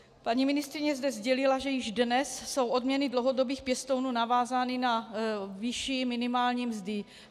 Paní ministryně zde sdělila, že již dnes jsou odměny dlouhodobých pěstounů navázány na výši minimální mzdy.